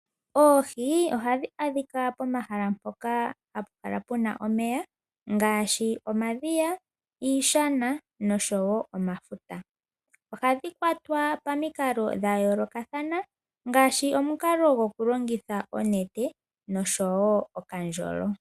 Oohi ohadhi adhika pomahala mpoka hapu kala puna omeya ngaashi omadhiya, iishana noshowo omafuta . Ohadhi kwatwa pomikalo dha yoolokathana ngaashi omukalo goku longitha onete noshowo okandjolo.